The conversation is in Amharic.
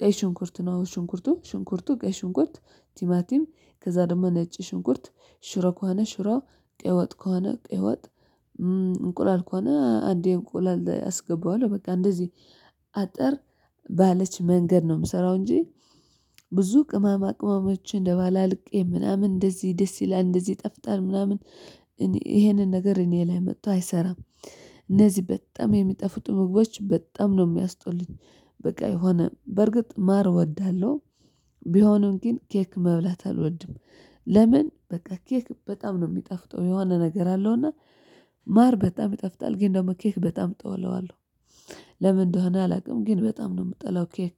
ቀይ ሽንኩርት ነው ሽንኩርቱ ሽንኩርቱ ቀይ ሽንኩርት ቲማቲም ከዛ ደግሞ ነጭ ሽንኩርት ሽሮ ከሆነ ሽሮ ቀይ ወጥ ከሆነ ቀይ ወጥ። እንቁላል ከሆነ አንዴ እንቁላል አስገባዋለሁ በቃ እንደዚህ አጠር ባለች መንገድ ነው የምሰራው እንጂ። ብዙ ቅማማ ቅማሞችን አደባልቄ ምናምን እንደዚህ ደስ ይላል እንደዚህ ይጠፍጣል ምናምን ይሄንን ነገር እኔ ላይ መጥቶ አይሰራም። እነዚህ በጣም የሚጠፉጡ ምግቦች በጣም ነው የሚያስጡልኝ። በቃ የሆነ በርግጥ ማር እወዳለሁ። ቢሆኑም ግን ኬክ መብላት አልወድም። ለምን? በቃ ኬክ በጣም ነው የሚጠፍጠው የሆነ ነገር አለውና። ማር በጣም ይጠፍታል ግን ደግሞ ኬክ በጣም እጠለዋለሁ። ለምን? እንደሆነ አላውቅም ግን በጣም ነው የምጠላው ኬክ